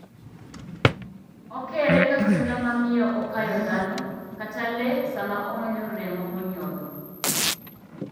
okere ka suna mamiyo okayo dhano kata lee sama omanyo remo monyodho.